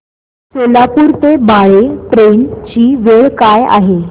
सोलापूर ते बाळे ट्रेन ची वेळ काय आहे